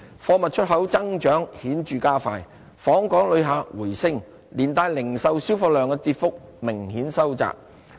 貨物出口增長顯著加快，訪港旅客回升，連帶零售銷貨量的跌幅明顯收窄。